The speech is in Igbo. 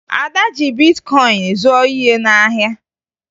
Ada ji bitkọyịn zụọ ihe n'ahịa